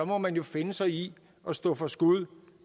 må man jo finde sig i at stå for skud